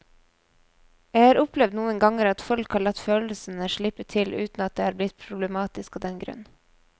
Jeg har opplevd noen ganger at folk har latt følelsene slippe til uten at det er blitt problematisk av den grunn.